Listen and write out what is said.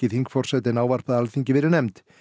þingforsetinn ávarpaði Alþingi verið nefnd